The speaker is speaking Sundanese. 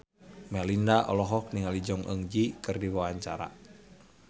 Melinda olohok ningali Jong Eun Ji keur diwawancara